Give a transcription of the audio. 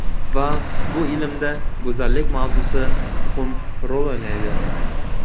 Va bu ilmda go‘zallik mavzusi muhim rol o‘ynaydi.